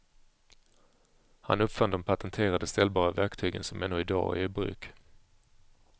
Han uppfann de patenterade ställbara verktygen som ännu idag är i bruk.